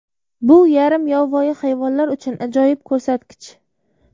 Bu yarim yovvoyi hayvonlar uchun ajoyib ko‘rsatkich.